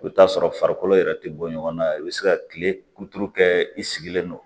I bɛ t'a sɔrɔ farikolo yɛrɛ tɛ bɔ ɲɔgɔn na i bɛ se ka kile kuturu kɛ i sigilen no